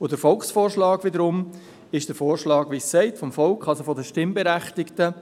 Der Volksvorschlag wiederum ist der Vorschlag vom Volk, wie es das Wort sagt, das heisst von den Stimmberechtigten,